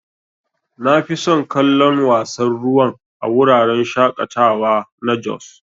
Nafison kallon wasan ruwan a wuraren shaƙatawa na jos.